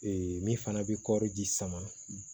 min fana bɛ kɔɔri ji sama